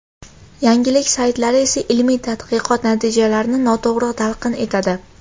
Yangilik saytlari esa ilmiy tadqiqot natijalarini noto‘g‘ri talqin etadi.